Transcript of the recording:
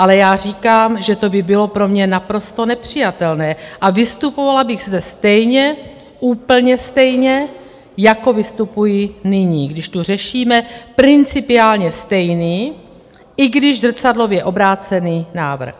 Ale já říkám, že to by bylo pro mě naprosto nepřijatelné a vystupovala bych zde stejně, úplně stejně, jako vystupuji nyní, když tu řešíme principiálně stejný, i když zrcadlově obrácený návrh.